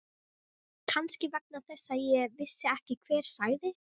Kannski vegna þess að ég vissi ekki hver sagði.